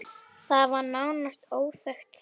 Það var nánast óþekkt þá.